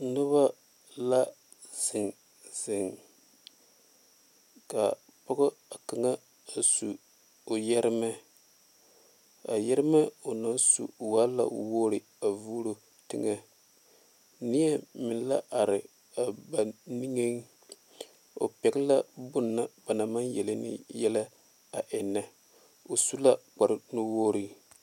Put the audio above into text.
Noba la zeŋ zeŋ ka pɔge kaŋa a su o yeeremɛ a yeeremɛ o naŋ su waa la wogre a vuuro teŋa nie meŋ la are a ba niŋe o pegle la bonna ba naŋ maŋ yeli ne yɛllɛ a eŋe o su la kpare nu wogre.